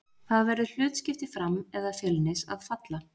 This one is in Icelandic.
Það verður hlutskipti Fram eða Fjölnis að falla.